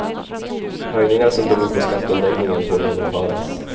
Höjningar som beror på skatteomläggningen får genomföras.